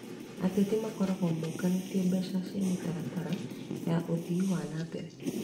Ateti makoragwo maungumĩtie mbeca cia mĩtaratara ya ũthii wa na mbere